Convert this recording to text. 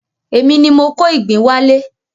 Èmi ni mo kó ìgbín wá lé.